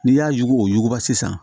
N'i y'a yuguyugu sisan sisan